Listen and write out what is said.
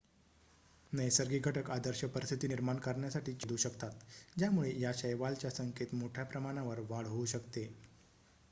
नैसर्गिक घटक आदर्श परिस्थिती निर्माण करण्यासाठी छेदू शकतात ज्यामुळे या शैवालच्या संख्येत मोठ्याप्रमाणावर वाढ होऊ शकते